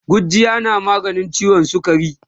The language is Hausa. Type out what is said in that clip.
gujjiya na maganin ciwon sukari